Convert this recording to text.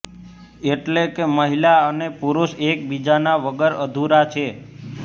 એટલે કે મહિલા અને પુરુષ એકબીજાના વગર અધુરા છે